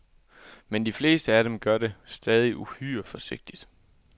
Men de fleste af dem gør det stadig uhyre forsigtigt.